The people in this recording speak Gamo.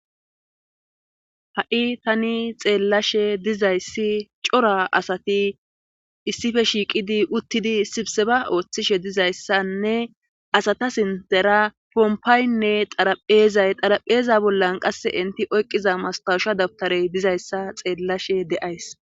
Ha'tani xeellashe dizayssi cora asati issife shiiqidi uttidi sibseba ooththishe dizayssanne asata sintera pompaaynne xarapheezay xarapheeza bollan qasse inti oyqqiza mastausha dabtarey dizayssa xeellashe de7ays.